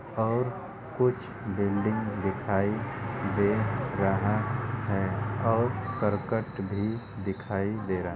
और कुछ बिल्डिंग दिखाई दे रहा है और करकट भी दिखाई दे रहा --